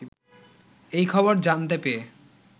এই খবর জানতে পেয়ে